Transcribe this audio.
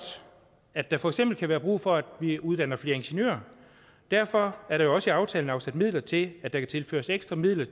at der for eksempel kan være brug for at vi uddanner flere ingeniører derfor er der også i aftalen afsat midler til at der kan tilføres ekstra midler